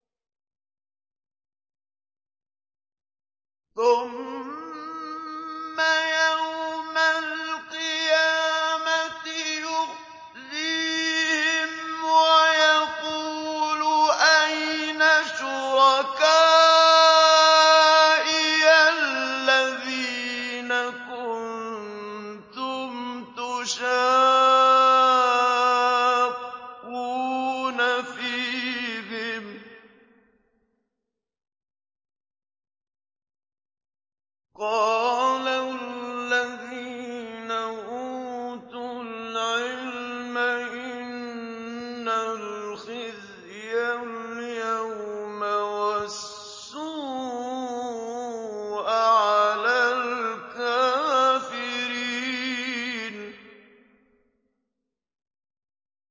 ثُمَّ يَوْمَ الْقِيَامَةِ يُخْزِيهِمْ وَيَقُولُ أَيْنَ شُرَكَائِيَ الَّذِينَ كُنتُمْ تُشَاقُّونَ فِيهِمْ ۚ قَالَ الَّذِينَ أُوتُوا الْعِلْمَ إِنَّ الْخِزْيَ الْيَوْمَ وَالسُّوءَ عَلَى الْكَافِرِينَ